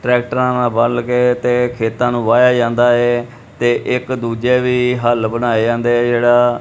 ਟਰੈਕਟਰਾਂ ਨਾਲ ਬੱਲਕੇ ਤੇ ਖੇਤਾਂ ਨੂੰ ਬਾਇਆ ਜਾਂਦਾ ਹੈ ਤੇ ਇੱਕ ਦੂੱਜੇ ਵੀ ਹੱਲ ਬਣਾਏ ਜਾਂਦੇ ਹੈਂ ਜੇਹੜਾ--